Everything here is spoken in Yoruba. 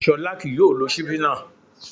Ṣọlá kì yóò lo ṣíbí náà